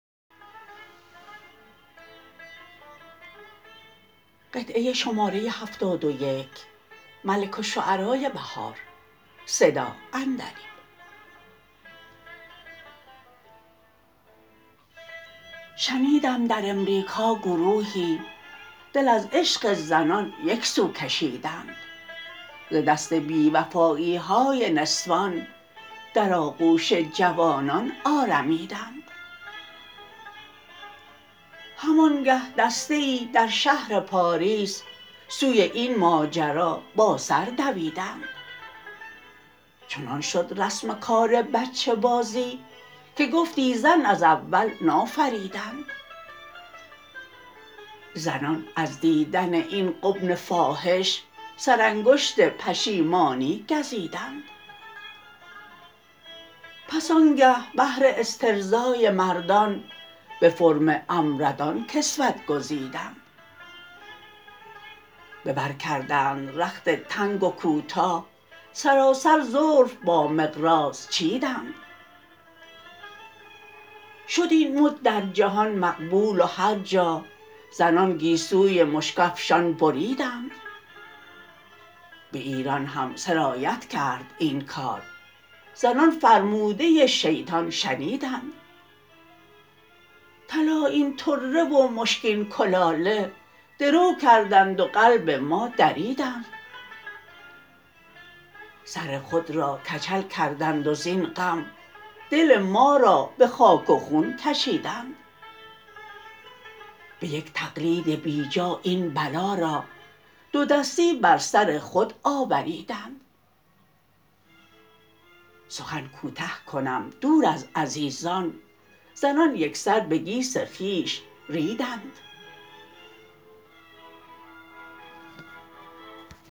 شنیدم در امریکا گروهی دل از عشق زنان یکسو کشیدند ز دست بیوفایی های نسوان در آغوش جوانان آرمیدند همانگه دسته ای در شهر پاریس سوی این ماجرا با سر دویدند چنان شد رسم کار بچه بازی که گفتی زن از اول نافریدند زنان از دیدن این غبن فاحش سرانگشت پشیمانی گزیدند پس آنگه بهر استرضای مردان به فرم امردان کسوت گزیدند به بر کردند رخت تنگ و کوتاه سراسر زلف با مقراض چیدند شد این مد در جهان مقبول و هرجا زنان گیسوی مشک افشان بریدند به ایران هم سرایت کرد این کار زنان فرموده شیطان شنیدند طلایین طره و مشکین کلاله درو کردند و قلب ما دریدند سر خود را کچل کردند و زین غم دل ما را به خاک و خون کشیدند به یک تقلید بیجا این بلا را دودستی بر سر خود آوریدند سخن کوته کنم دور از عزیزان زنان یکسر به گیس خویش ریدند